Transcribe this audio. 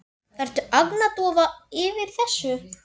Ertu agndofa yfir þessu?